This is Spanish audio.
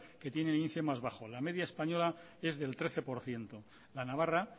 que tiene el índice más bajo la media española es del trece por ciento la navarra